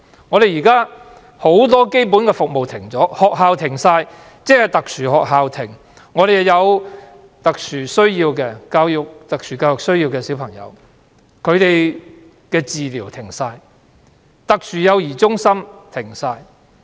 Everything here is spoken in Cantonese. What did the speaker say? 香港現時很多基本服務已經停止，學校停課、特殊學校停課，特殊幼兒中心停止運作，那些有特殊教育需要的小孩的治療也完全停止。